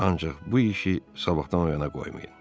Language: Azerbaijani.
Ancaq bu işi sabahdan o yana qoymayın.